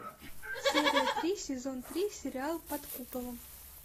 серия три сезон три сериал под куполом